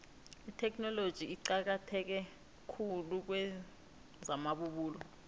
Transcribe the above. itheknoloji iqakatheke khulu kwezamabubulo